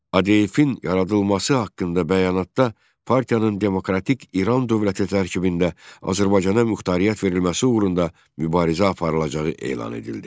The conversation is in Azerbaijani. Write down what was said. ADF-in yaradılması haqqında bəyanatda partiyanın demokratik İran dövləti tərkibində Azərbaycana muxtariyyət verilməsi uğrunda mübarizə aparılacağı elan edildi.